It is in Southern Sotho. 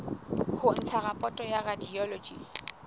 ho ntsha raporoto ya radiology